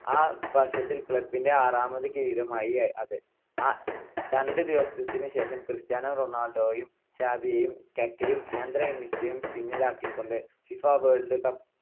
ആ വർഷത്തിൽ club ന്റെ ആറാമത് കിരീടമായി അത്. രണ്ട് ദിവസത്തിനു ശേഷം, ക്രിസ്റ്റ്യാനോ റൊണാൾഡോയും സാവിയേയും കക്കായും ആന്ദ്രേ ഇനിയേസ്റ്റയും പിന്നിലാക്കിക്കൊണ്ട് ഫിഫ വേൾഡ് കപ്പ്